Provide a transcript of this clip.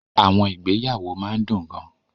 Àwọn ìgbéyàwó máa ń dùn gan-an.